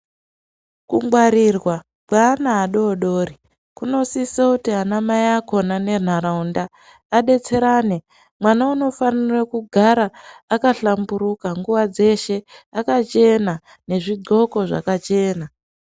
Kungwarirwa kweana adoodori kunosise kuti anamai akhona nenharaunda adetserane . Mwana unofanire kugara akahlamburuka ,nguwa dzeshe akachena nezvigqoko zvakachena.